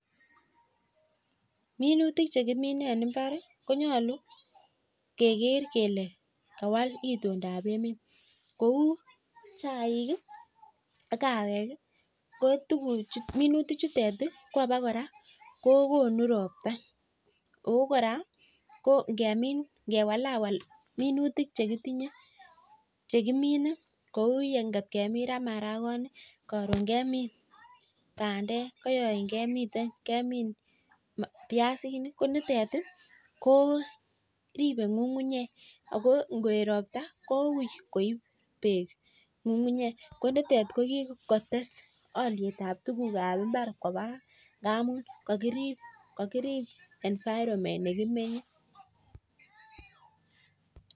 Minutik che kiminei eng mbar kekere kele kawal itondap emet kou chaik ak kawek, ko minutichutet ko abokora kokonu ropta. Ako kora ngewalawal minutik chekitinye chekimine, kou ngot kemin ra marakoni, karon kemin bandek koyoin kemin biasinik. Ko nitet ko ripei ng'ung'unyek ako ngoet ropta kou koip beek ng'ung'unyek. Ko nitet kokikotes olietab tukuk ab mbar koba ngamun kakirip environment nekimenye.